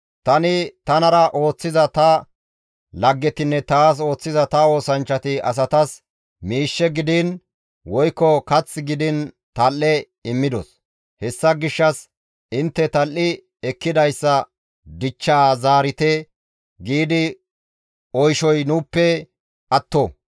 Tani tanara ooththiza ta laggetinne taas ooththiza ta oosanchchati asatas miishshe gidiin woykko kath gidiin tal7e immidos; hessa gishshas, ‹Intte tal7i ekkidayssa dichchaa zaarite› gi oyshoy nuuppe atto.